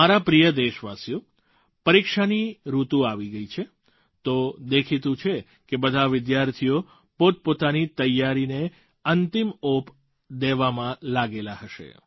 મારા પ્રિય દેશવાસીઓ પરીક્ષાની ઋતુ આવી ગઈ છે તો દેખીતું છે કે બધાં વિદ્યાર્થીઓ પોતપોતાની તૈયારીને અંતિમ ઓપ દેવામાં લાગેલાં હશે